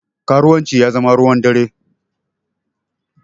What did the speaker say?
Karuwanci ya zama ruwan dare